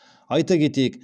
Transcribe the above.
айта кетейік